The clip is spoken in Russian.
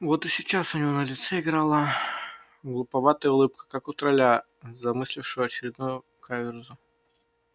вот и сейчас у него на лице играла глуповатая улыбка как у тролля замыслившего очередную каверзу